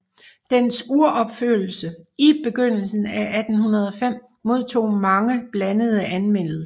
Dens uropførelse i begyndelsen af 1805 modtog blandede anmeldelser